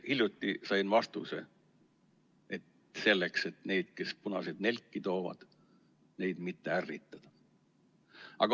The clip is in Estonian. Hiljuti sain vastuse: selleks, et neid, kes punaseid nelke toovad, mitte ärritada.